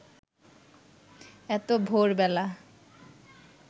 এত ভোরবেলা